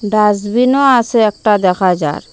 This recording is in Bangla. ডাসবিনও আসে একটা দেখা যার ।